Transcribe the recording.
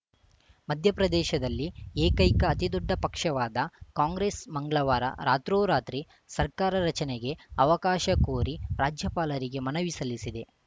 ಮಧ್ಯಪ್ರದೇಶದಲ್ಲಿ ಏಕೈಕ ಅತಿದೊಡ್ಡ ಪಕ್ಷವಾದ ಕಾಂಗ್ರೆಸ್‌ ಮಂಗಳವಾರ ರಾತ್ರೋರಾತ್ರಿ ಸರ್ಕಾರ ರಚನೆಗೆ ಅವಕಾಶ ಕೋರಿ ರಾಜ್ಯಪಾಲರಿಗೆ ಮನವಿ ಸಲ್ಲಿಸಿದೆ